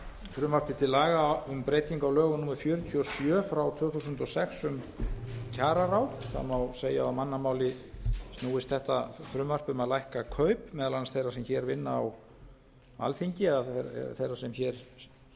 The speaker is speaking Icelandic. frumvarpi til laga um breytingu á lögum númer fjörutíu og sjö tvö þúsund og sex um kjararáð það má segja að á mannamáli snúist þetta frumvarp um að lækka kaup meðal annars þeirra sem hér vinna á alþingi eða þeirra sem hér